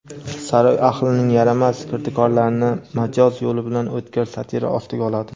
saroy ahlining yaramas kirdikorlarini majoz yo‘li bilan o‘tkir satira ostiga oladi./.